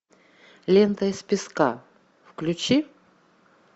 лента из песка включи